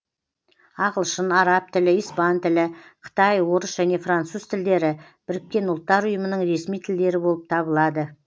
ағылшын араб тілі испан тілі қытай орыс және француз тілдері біріккен ұлттар ұйымының ресми тілдері болып табылады